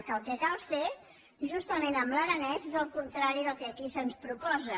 que el que cal fer amb l’aranès és el contrari del que aquí se’ns proposa